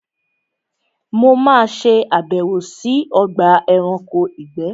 Mo ma ṣe àbẹ̀wò sí Ogba eranko ìgbé